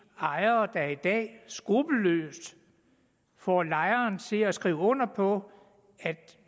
ejere der i dag skruppelløst får lejere til at skrive under på at